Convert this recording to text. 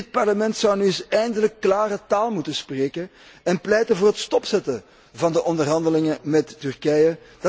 Dit Parlement zou nu eens eindelijk klare taal moeten spreken en pleiten voor het stopzetten van de onderhandelingen met Turkije.